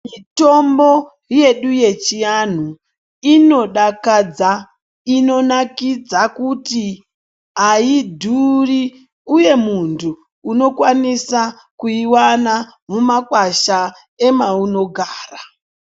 Mitombo yedu yechianhu inodakadza inonakidza kuti hayidhuri uye muntu unokwanisa kuyiona mumakwasha emaunogara.